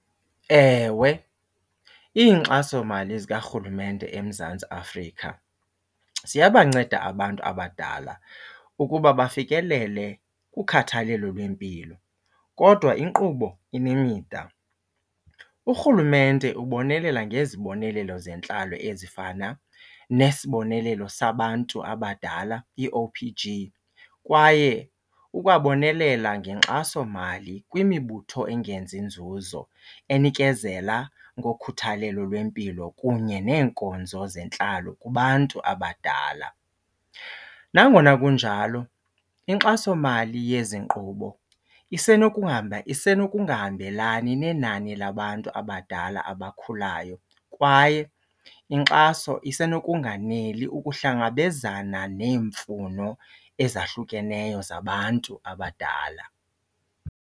Ewe, iinkxasomali zikarhulumente eMzantsi Afrika ziyabanceda abantu abadala ukuba bafikelele kukhathalelo lwempilo kodwa inkqubo inemida. Urhulumente ubonelela ngezibonelelo zentlalo ezifana nesibonelelo sabantu abadala i-O_P_G kwaye ukwabonelela ngenkxasomali kwimibutho engenzi nzuzo enikezela ngokhuthalelo lwempilo kunye neenkonzo zentlalo kubantu abadala. Nangona kunjalo inkxasomali yezi nkqubo isenokungahambelani nenani labantu abadala abakhulayo kwaye inkxaso isenokunganeli ukuhlangabezana neemfuno ezahlukeneyo zabantu abadala.